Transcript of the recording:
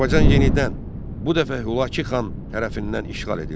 Azərbaycan yenidən bu dəfə Hülakü xan tərəfindən işğal edildi.